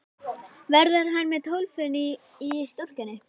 Verður hann með Tólfunni í stúkunni?